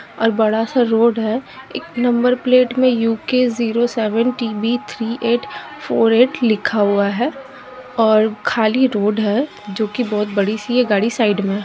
और बड़ा सा रोड है एक नंबर प्लेट में U. K zero seven T. B three eight four eight लिखा हुआ है और खाली रोड है जो की बहोत बड़ी सी है गाड़ी साइड में --